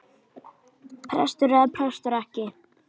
Prestur eða prestur ekki.